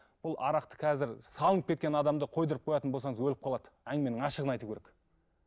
бұл арақты қазір салынып кеткен адамды қойдыртып қоятын болсаңыз өліп қалады әңгіменің ашығын айту керек